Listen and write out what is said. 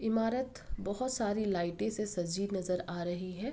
इमारत बोहोत सारी लाइटे से सजी नजर आ रही है।